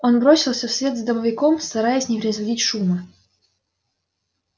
он бросился вслед за домовиком стараясь не производить шума